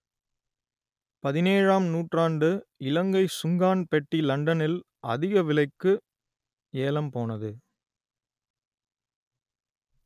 பதினேழாம் நூற்றாண்டு இலங்கை சுங்கான் பெட்டி லண்டனில் அதிக விலைக்கு ஏலம் போனது